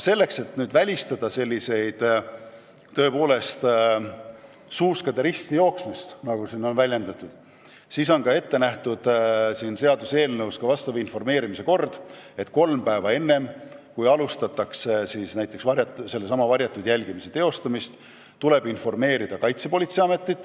Et välistada seda nn suuskade ristiminekut, on eelnõus ette nähtud, et kolm päeva enne seda, kui alustatakse näiteks varjatud jälgimist, tuleb sellest informeerida Kaitsepolitseiametit.